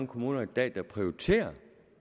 kommuner i dag der prioriterer